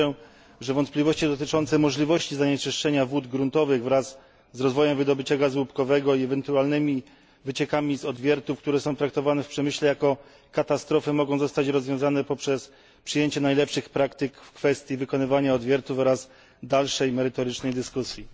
Wierzę, że wątpliwości dotyczące możliwości zanieczyszczenia wód gruntowych wraz z rozwojem wydobycia gazu łupkowego i ewentualnymi wyciekami z odwiertów, które są traktowane w przemyśle jako katastrofy, mogą zostać rozwiązane poprzez przyjęcie najlepszych praktyk w kwestii wykonywania odwiertów oraz dalszej merytorycznej dyskusji.